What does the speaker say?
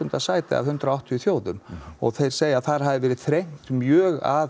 sæti af hundrað og áttatíu þjóðum og þeir segja að þar hafi verið þrengt mjög að